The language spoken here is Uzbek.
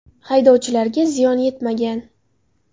Haydovchilarga ziyon yetmagan.